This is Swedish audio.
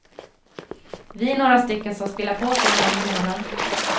Vi är några stycken som spelar poker en gång i månaden.